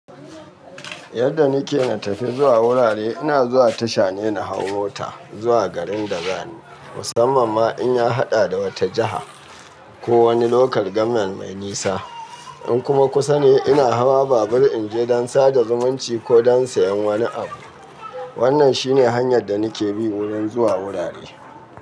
Yadda nake na tafi zuwa wurare ina zuwa tasha ne na hau mota zuwa garin da zani musamman ma in ya haɗa da wata jiha ko wani local government mai nisa. In kuma kusa ne ina hawa babur in je don sada zumunci ko don sayan wani abu. Wannan shine hanyar da nake bi wurin zuwa wurare.